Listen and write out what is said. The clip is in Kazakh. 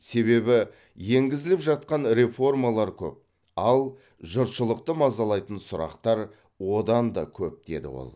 себебі енгізіліп жатқан реформалар көп ал жұртшылықты мазалайтын сұрақтар одан да көп деді ол